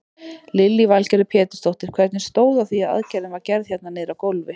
Lillý Valgerður Pétursdóttir: Hvernig stóð á því að aðgerðin var gerð hérna niðri á gólfi?